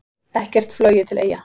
Ekkert flogið til Eyja